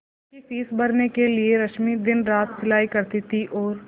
उसकी फीस भरने के लिए रश्मि दिनरात सिलाई करती थी और